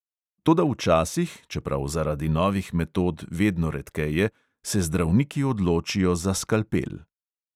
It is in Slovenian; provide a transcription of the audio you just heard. Toda včasih – čeprav zaradi novih metod vedno redkeje – se zdravniki odločijo za skalpel.